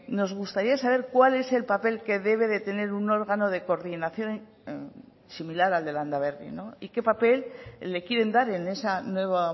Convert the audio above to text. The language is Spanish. nos gustaría saber cuál es el papel que debe de tener un órgano de coordinación similar al de landaberri y qué papel le quieren dar en esa nueva